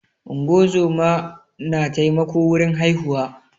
ungozomai na taimako wurin haihuwa